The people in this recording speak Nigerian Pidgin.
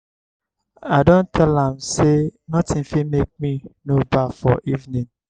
i don tell am sey notin fit make me no baff for evening.